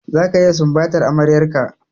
Zaka iya sumbatar amaryar ka!